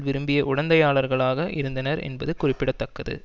விரும்பிய உடந்தையாளர்களாக இருந்தனர் என்பது குறிப்பிட தக்கது